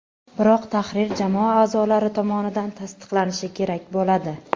Biroq tahrir jamoa a’zolari tomonidan tasdiqlanishi kerak bo‘ladi.